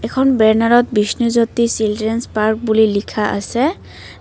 এখন বেনাৰত Bishnu Jyoti children's park বুলি লিখা আছে।